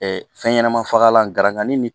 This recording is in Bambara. fɛn ɲɛnama fagalan gankan ni